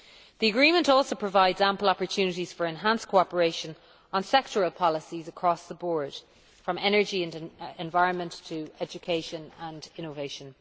The agreement also provides ample opportunities for enhanced cooperation on sectoral policies across the board, from energy and environment to education and innovation.